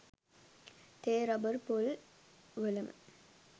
තේ රබර් පොල් වලම